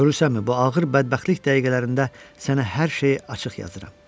Görürsənmi, bu ağır bədbəxtlik dəqiqələrində sənə hər şeyi açıq yazıram.